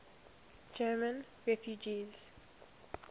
german refugees